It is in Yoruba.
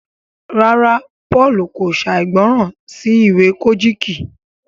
ràrá Paul kò ṣàìgbọràn sí ìwé Kojiki.